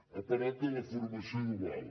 ha parlat de la formació dual